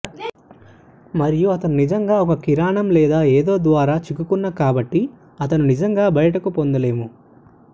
మరియు అతను నిజంగా ఒక కిరణం లేదా ఏదో ద్వారా చిక్కుకున్న కాబట్టి అతను నిజంగా బయటకు పొందలేము